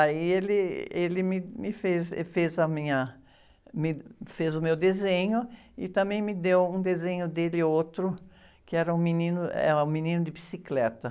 Aí ele, ele me, me fez, e fez a minha, me fez o meu desenho e também me deu um desenho dele, outro, que era um menino, é um menino de bicicleta.